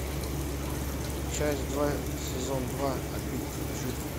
часть два сезон два обитель лжи